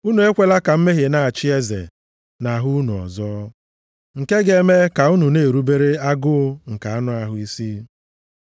Unu ekwela ka mmehie na-achị eze nʼahụ unu ọzọ, nke ga-eme ka unu na-erubere agụụ nke anụ ahụ isi.